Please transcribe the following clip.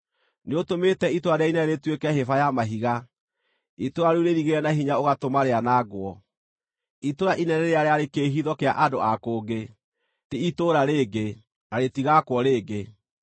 Nĩũtũmĩte itũũra rĩrĩa inene rĩtuĩke hĩba ya mahiga, itũũra rĩu rĩirigĩre na hinya ũgatũma rĩanangwo, itũũra inene rĩrĩa rĩarĩ kĩĩhitho kĩa andũ a kũngĩ, ti itũũra rĩngĩ, na rĩtigaakwo rĩngĩ.